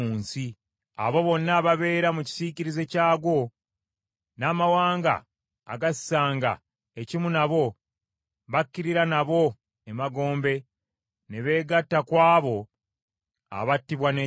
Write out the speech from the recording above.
Abo bonna ababeera mu kisiikirize kyagwo, n’amawanga agassanga ekimu nabo, bakirira nabo emagombe ne beegatta ku abo abattibwa n’ekitala.